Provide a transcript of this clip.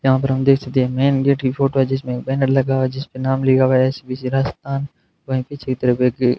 यहां पर हम देखते हैं मैन गेट की फोटो जिसमें बेनर लगाओ जिसमें नाम लिखा हुआ है एस_बी_सी राजस्थान वहीं पिछली तरफ का गेट --